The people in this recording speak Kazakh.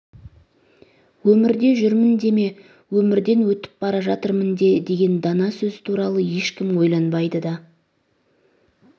өмірде жүрмін деме өмірден өтіп бара жатырмын де деген дана сөзі туралы ешкім ойланбайды да